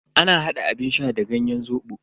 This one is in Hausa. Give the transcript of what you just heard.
Ana hada abun sha da ganyen zobo.